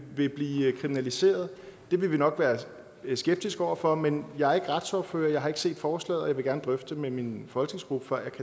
vil blive kriminaliseret og det vil vi nok være skeptiske over for men jeg er ikke retsordfører jeg har ikke set forslaget og jeg vil gerne drøfte det med min folketingsgruppe